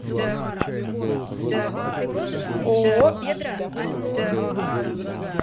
ооо исида